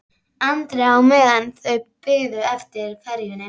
Andri á meðan þau biðu eftir ferjunni.